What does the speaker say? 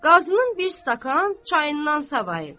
Qazının bir stəkan çayından savayıb.